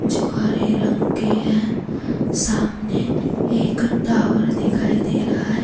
जो हरे रंग के है सामने एक टावर दिखाई दे रहा है।